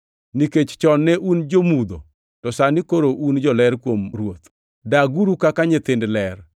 Nikech chon ne un jo-mudho, to sani koro un joler kuom Ruoth. Daguru kaka nyithind ler